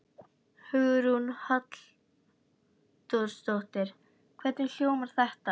Hugrún Halldórsdóttir: Hvernig hljómar þetta?